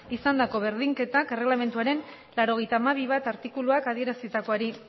izandako berdinketak erregelamenduaren laurogeita hamabi puntu bat artikuluak adierazitakoari